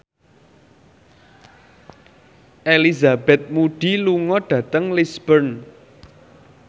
Elizabeth Moody lunga dhateng Lisburn